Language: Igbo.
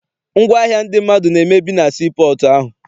Ngwaahịa ndị mmadụ na-emebi na sii pọọtụ ahụ.